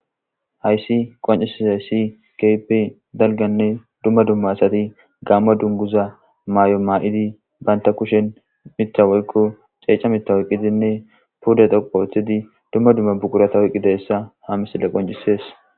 Hayssi qoncissay ssi kepe dalganne dumma dumma asati gamma dunguza maay'o maa'idi banta kushen mittawoykko ceeca mittawoyqidinne puda dhoqo othidi dumma dumma bukurata woyqqi dessa ha misille qoncisees.